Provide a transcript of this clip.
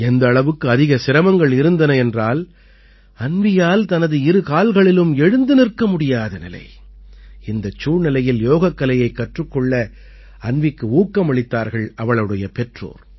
எந்த அளவுக்கு அதிக சிரமங்கள் இருந்தன என்றால் அன்வீயால் தனது இரு கால்களிலும் எழுந்து நிற்க முடியாத நிலை இந்தச் சூழ்நிலையில் யோகக்கலையைக் கற்றுக் கொள்ள அன்வீக்கு ஊக்கமளித்தார்கள் அவளுடைய பெற்றோர்